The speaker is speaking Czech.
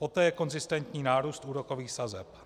Poté je konzistentní nárůst úrokových sazeb.